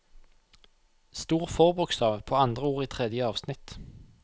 Stor forbokstav på andre ord i tredje avsnitt